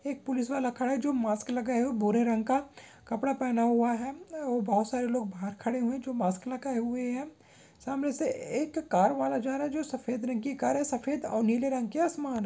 एक पुलिस वाला खड़ा है जो मास्क लगाए हुए है भूरे रंग का कपड़ा पहना हुआ है और बहुत सारे लोग बाहर खड़े हुए हैं जो मास्क लगाए हुए हैं सामने से एक कार वाला जा रहा है जो सफेद रंग की कार हैं सफेद और नीले रंग की आसमान--